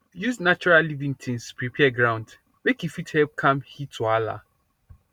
use natural living tins prepare ground make e fit help calm heat wahala